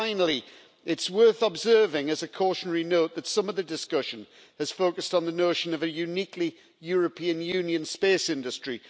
And finally, it is worth observing as a cautionary note that some of the discussion has focused on the notion of a uniquely European Union space industry.